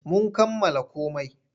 Mun kammala komai.